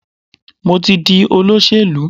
Mo ti di olóṣèlú.